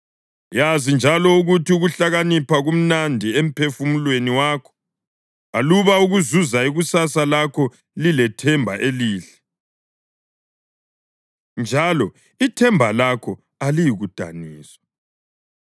Yazi njalo ukuthi ukuhlakanipha kumnandi emphefumulweni wakho, aluba ukuzuza ikusasa lakho lilethemba elihle, njalo ithemba lakho aliyikudaniswa.